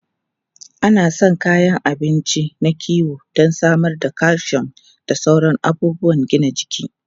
An san kayan abinci na kiwo don samar da calcium da sauran abubuwan gina jiki.